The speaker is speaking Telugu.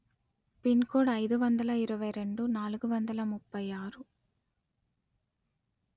పిన్ కోడ్ అయిదు వందల ఇరవై రెండు నాలుగు వందల ముప్పై ఆరు